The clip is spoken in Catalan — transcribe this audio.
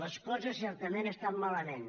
les coses certament estan malament